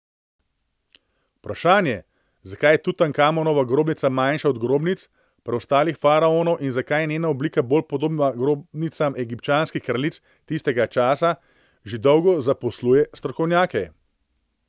Vprašanje, zakaj je Tutankamonova grobnica manjša od grobnic preostalih faraonov in zakaj je njena oblika bolj podobna grobnicam egipčanskih kraljic tistega časa, že dolgo zaposluje strokovnjake.